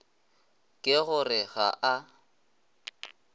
ke go re ga a